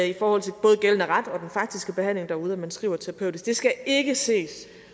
i forhold til både gældende ret og den faktiske behandling derude at man skriver terapeutisk det skal ikke ses